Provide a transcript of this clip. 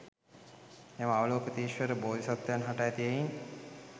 මෙම අවලෝකිතේශ්වර බෝධි සත්වයන් හට ඇති හෙයින්